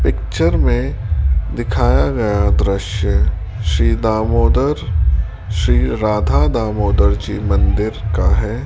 Picture में दिखाया गया दृश्य श्री दामोदर श्री राधा दामोदर जी मंदिर का है।